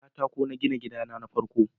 da katako na gina gida na ta farko